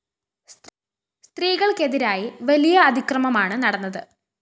സ്ത്രീകള്‍ക്കെതിരായി വലിയ അതിക്രമമാണ് നടന്നത്